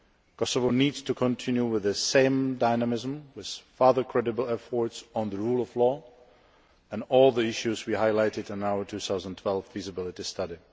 Kosovo needs to continue with the same dynamism, with further credible efforts on the rule of law and all the issues we highlighted in our 2012 feasibility study.